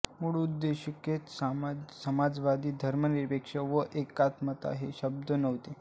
मूळ उद्देशिकेत समाजवादी धर्मनिरपेक्ष व एकात्मता हे शब्द नव्हते